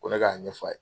Ko ne k'a ɲɛf'a ye